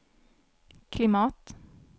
klimat